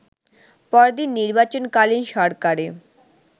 পরদিন নির্বাচনকালীন সরকারে